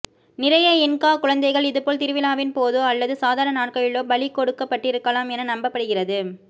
நிறைய இன்கா குழந்தைகள் இதுபோல் திருவிழாவின் போதோ அல்லது சாதாரண நாட்களிலோ பலி கொடுக்கப்பட்டிருக்கலாம் என நம்பப் படுகிறது